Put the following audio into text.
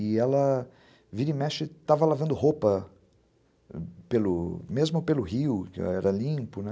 E ela vira e mexe estava lavando roupa mesmo pelo rio, que era limpo, né?